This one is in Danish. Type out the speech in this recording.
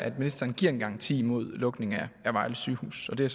at ministeren giver en garanti mod lukning af vejle sygehus og det